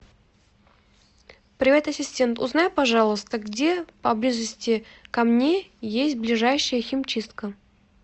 привет ассистент узнай пожалуйста где поблизости ко мне есть ближайшая химчистка